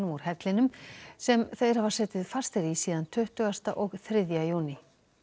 úr hellinum sem þeir hafa setið fastir í síðan tuttugasta og þriðja júní